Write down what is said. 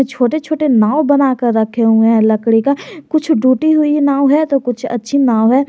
छोटे छोटे नाव बनाकर रखे हुए हैं लकड़ी का कुछ टूटी हुई नाव है तो कुछ अच्छी नाव है।